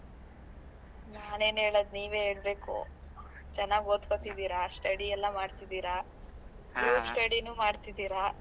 . ನಾನ್ ಏನ್ ಹೇಳೂದೂ, ನೀವೇ ಹೇಳ್ಬೇಕು. ಚೆನ್ನಾಗ್ ಓದ್ಕೋತಿದಿರಾ? study ಎಲ್ಲಾ ಮಾಡ್ತಿದೀರಾ. group study ನು ಮಾಡ್ತಿದೀರಾ.